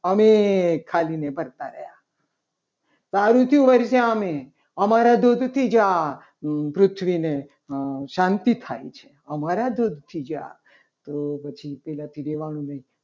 અને ખાલી ને ભરતા રહ્યા સારું થયું વર્ષા અમે અમારા તો તૂટી ગયા પૃથ્વીને શાંતિ થાય છે. આમાં રાજુ ઉઠી ગયા. તો પૃથ્વીને તો પછી પહેલાથી રહેવાનું નહીં.